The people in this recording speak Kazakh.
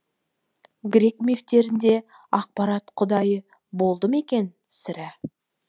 грек мифтерінде ақпарат құдайы болды ма екен сірә